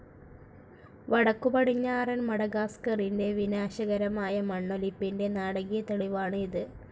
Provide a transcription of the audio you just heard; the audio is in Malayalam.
വടക്കുപടിഞ്ഞാറൻ മഡഗാസ്കറിന്റെ വിനാശകരമായ മണ്ണൊലിപ്പിന്റെ നാടകീയ തെളിവാണ് ഇത്.